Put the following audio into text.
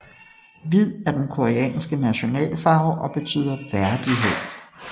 Hvid er den koreanske nationalfarve og betyder værdighed